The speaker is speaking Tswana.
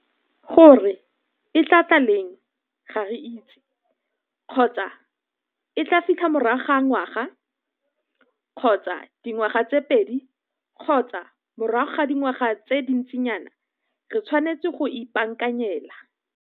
Gore e tlaa tla leng ga re itse. Kgotsa e tlaa filtha morago ga ngwaga kgotsa dingwaga tse pedi kgotsa morago ga dingwaga tse dintsinyana re tshwanetse go e ipaakanyela.